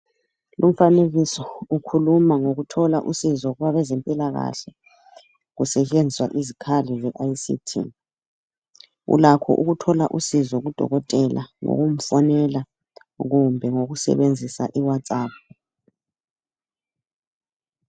Umfanekiso ukhuluma ngokuthola usizo kwabezempilakahle kusetshenziswa izikhali . Ulakho ukuthola usizo kudokotela ngokumfonela kumbe ngokusebenzisa i- Whatsapp.